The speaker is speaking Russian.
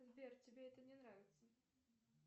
сбер тебе это не нравится